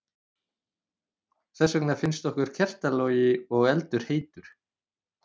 Þess vegna finnst okkur kertalogi og eldur heitur.